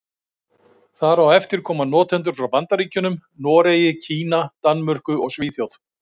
Þar á eftir koma notendur frá Bandaríkjunum, Noregi, Kína, Danmörku og Svíþjóð.